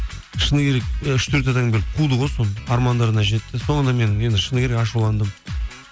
шыны керек үш төрт адам келіп қуды ғой соны армандарына жетті соңында мен шыны керек ашуландым